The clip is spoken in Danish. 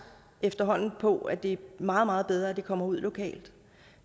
efterhånden på at det er meget meget bedre at det kommer ud lokalt